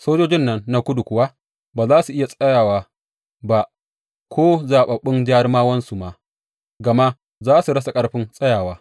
Sojojin nan na Kudu kuwa ba za su iya tsayawa ba, ko zaɓaɓɓun jarumawansu ma, gama za su rasa ƙarfin tsayawa.